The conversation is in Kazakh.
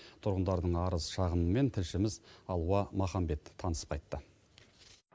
тұрғындардың арыз шағымымен тілшіміз алуа маханбет танысып қайтты